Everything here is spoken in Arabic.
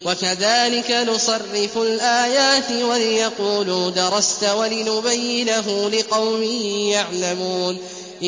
وَكَذَٰلِكَ نُصَرِّفُ الْآيَاتِ وَلِيَقُولُوا دَرَسْتَ وَلِنُبَيِّنَهُ لِقَوْمٍ يَعْلَمُونَ